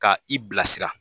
Ka i bila sira